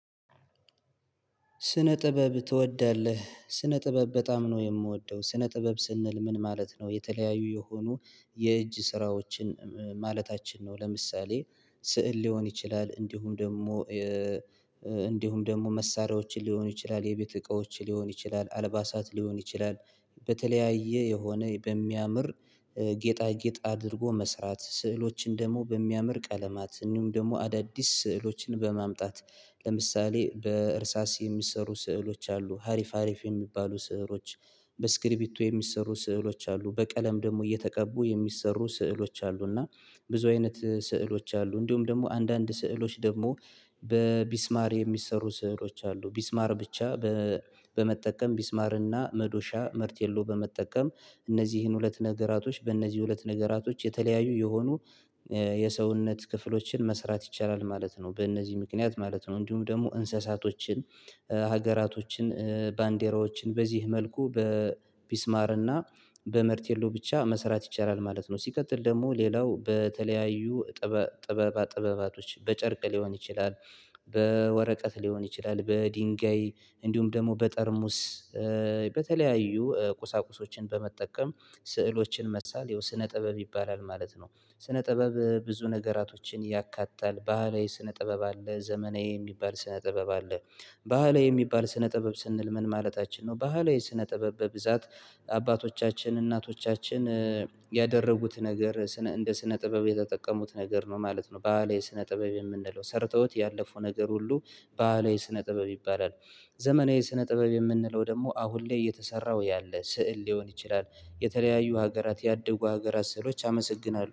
ስነ ጥበብ ትወዳለህ? ስነ ጥበብ በጣም ነው የምወደው ስነ ጥበብ ስንል ምን ማለት ነው? የተለያዩ የሆኑ የእጅ ስራዎችን ማለታችን ነው። ለምሳሌ ስዕል ሊሆን ይችላል እንዲሁም ደግሞ እንዲሁም ደግሞ መሳሪያዎችን ሊሆን ይችላል የቤት እቃዎችን ሊሆን ይችላል አልባሳት ሊሆን ይችላል። በተለያየ የሆነ በሚያምር ጌጣ ጌጥ አድርጎ መስራት ስዕሎችን ደግሞ በሚያምር ቀለማት እንዲሁም ደግሞ አዳዲስ ስዕሎችን በማምጣት ለምሳሌ በእርሳስ የሚሰሩ ስዕሎች አሉ ሀሪፍ ሀሪፍ የሚባሉ ስዕሎች። በስክሪቢቶ የሚሰሩ ስዕሎች አሉ በቀለም ደግሞ እየተቀቡ የሚሰሩ ስዕሎች አሉ። እና ብዙ አይነት ስዕሎች አሉ እንዲሁም ደግሞ አንዳንድ ስዕሎች ደግሞ በሚስማር የሚሰሩ ስዕሎች አሉ። ሚስማር ብቻ በመጠቀም ሚስማር እና መዶሻ መርቴሎ በመጠቀም እነዚህን ሁለት ነገራቶች በእነዚህ ሁለት ነገራቶች የተለያዩ የሆኑ የሰውነት ክፍሎችን መስራት ይቻላል ማለት ነው። በእነዚህ ምክንያት ማለት ነው እንዲሁም ደግሞ እንስሳቶችን ሀገራቶችን ባንዴራዎችን በዚህ መልኩ በሚስማርና በመርቴሎ ብቻ መሰራት ይቻላል ማለት ነው። ሲቀጥል ደግሞ ሌላው በተለያዩ ጥበባ ጥበባቶች በጨርቅ ሊሆን ይችላል። በወረቀት ሊሆን ይችላል በድንጋይ እንዲሁም ደግሞ በጠርሙስ በተለያዩ ቁሳቁሶችን በመጠቀም ስዕሎችን መሳል ያው ስነ ጥበብ ይባላል ማለት ነው። ስነ ጥበብ ብዙ ነገራቶችን ያካታል ባህላዊ ስነ ጥበብ አለ ዘመናዊ የሚባል ስነ ጥበብ አለ። ባህላዊ የሚባል ስነ ጥበብ ስንል ምን ማለታችን ነው? ባህላዊ ስነ ጥበብ በብዛት አባቶቻችን እናቶቻችን ያደረጉት ነገር እንደ ስነ ጥበብ የተጠቀሙት ነገር ነው ማለት ነው። ባለህላዊ ስነ ጥበብ የምንለው ሰርተውት ያለፉ ነገር ሁሉ ባህላዊ ስነ ጥበብ ይባላል። ዘመናዊ ስነ ጥበብ የምንለው ደግሞ አሁን ላይ የተሰራው ያለ ስዕል ሊሆን ይችላል። የተለያዩ ሀገራት ያደጉ ሀገራት ስዕሎች አመሰግናለሁ